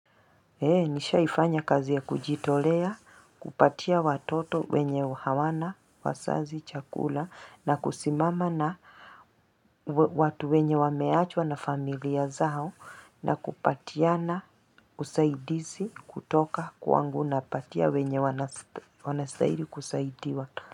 Nishaifanya kazi ya kujitolea, kupatia watoto wenye hawana, wazazi, chakula, na kusimama na watu wenye wameachwa na familia zao, na kupatiana, usaidizi, kutoka, kwangu napatia, wenye wanastaili kusaidiwa.